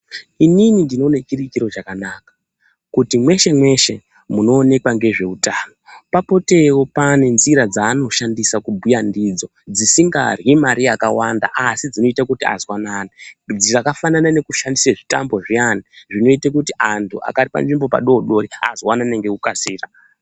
Inini ndinoone chiri chiro chakanaka kuti mweshe mweshe munoonekwa ngezveutano papotewo pane nzira dzaanoshandisa kubhuya ndidzo dzisingarhyi Mari yakawanda asi dzinoita kuti azwanane dzakafanana nekushandisa zvitambo zviyani zvinoite kuti anthu akagara panzvimbo padodori azwanane ngekukasira.